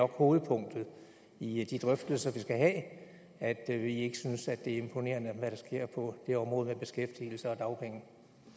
hovedpunktet i de drøftelser vi skal have at at vi ikke synes at det er imponerende hvad der sker på det område med beskæftigelse og dagpenge